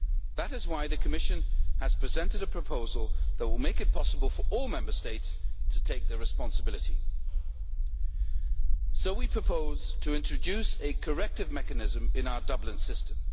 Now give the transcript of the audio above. That is why the Commission has presented a proposal that will make it possible for all Member States to take their responsibility. So we propose to introduce a corrective mechanism in our Dublin System.